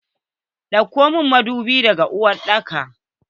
Dauko mun madubi daga uwar daka!